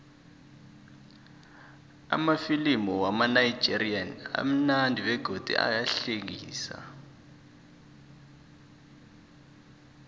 amafilimu wamanigerian amunandi begodu ayahlekisa